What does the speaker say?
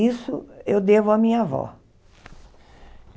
Isso eu devo à minha avó.